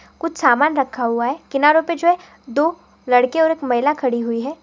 कुछ सामान रखा हुआ है किनारो पे जो है दो लड़की और एक महिला खड़ी हुई है।